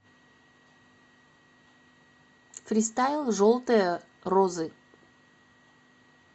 фристайл желтые розы